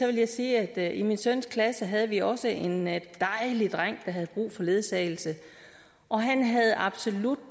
vil jeg sige at i min søns klasse havde vi også en dejlig dreng der havde brug for ledsagelse og han havde absolut